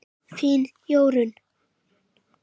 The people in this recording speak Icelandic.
Þín Jórunn.